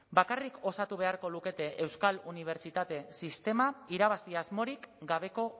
bakarrik osatu beharko lukete euskal unibertsitate sistema irabazi asmorik gabeko